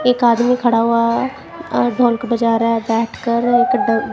एक आदमी खड़ा हुआ है और ढोलक बजा रहा है बैठकर एक ड--